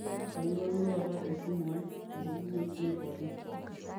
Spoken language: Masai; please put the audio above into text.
aingorua duo taata esimu ai tepoki wueji neitu atum